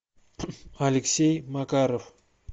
алексей макаров